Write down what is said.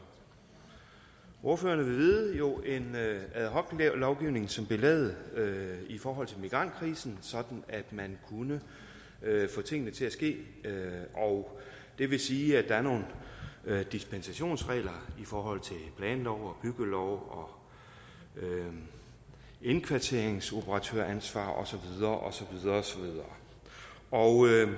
ordførerne vil vide jo en ad hoc lovgivning som blev lavet i forhold til migrantkrisen sådan at man kunne få tingene til at ske og det vil sige at der er nogle dispensationsregler i forhold til planloven byggeloven indkvarteringsoperatøransvar og så videre og